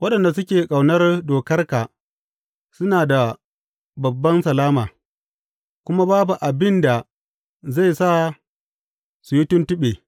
Waɗanda suke ƙaunar dokarka suna da babban salama, kuma babu abin da zai sa su yi tuntuɓe.